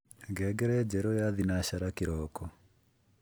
ngengere njeru ya thinashara kiroko